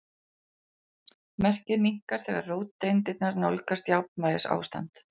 Merkið minnkar þegar róteindirnar nálgast jafnvægisástand.